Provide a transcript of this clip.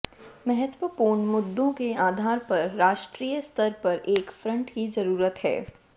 महत्वपूर्ण मुद्दों के आधार पर राष्ट्रीय स्तर पर एक फ्रंट की जरूरत है